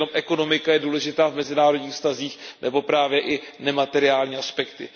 Jestli jenom ekonomika je důležitá v mezinárodních vztazích nebo právě i nemateriální aspekty.